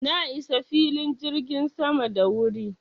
Na isa filin jirgin sama da wuri.